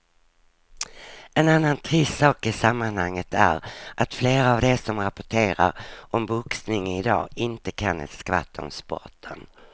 En annan trist sak i sammanhanget är att flera av de som rapporterar om boxning i dag inte kan ett skvatt om sporten.